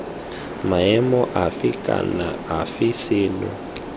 maemong afe kana afe seno